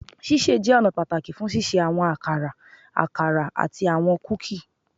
Ṣiṣe jẹ ọna pataki fun ṣiṣe awọn akara, akara, ati awọn kuki